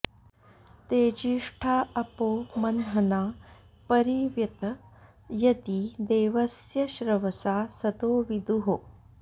तेजि॑ष्ठा अ॒पो मं॒हना॒ परि॑ व्यत॒ यदी॑ दे॒वस्य॒ श्रव॑सा॒ सदो॑ वि॒दुः